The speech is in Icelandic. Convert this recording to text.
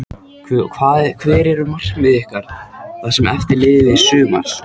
Hver eru markmið ykkar það sem eftir lifir sumars?